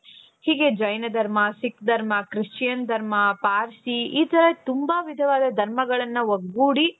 ಹೀಗೆ ಜೈನ ಧರ್ಮ ಸಿಖ್ ಧರ್ಮ christian ಧರ್ಮ ಪಾರ್ಸಿ ಈ ತರ ತುಂಬಾ ವಿಧವಾದ ಧರ್ಮಗಳನ್ನ ಒಗ್ಗೂಡಿ.